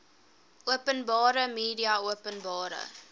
openbare media openbare